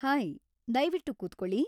Hi, ದಯವಿಟ್ಟು ಕೂತ್ಕೊಳ್ಳಿ.